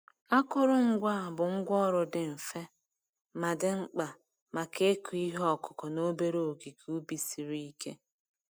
Akụrụngwa a bụ ngwá ọrụ dị mfe, ma dị mkpa maka ịkụ ihe ọkụkụ n'obere ogige ubi siri ike.